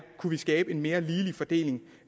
kunne skabe en mere ligelig fordeling